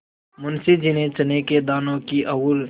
मुंशी जी ने चने के दानों की ओर